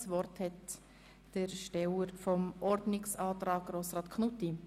Das Wort hat Grossrat Knutti zur Begründung des Antrags.